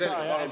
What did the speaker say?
Palun-palun!